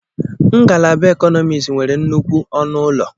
Ngalaba Economics nwere nnukwu ọnụ ụlọ.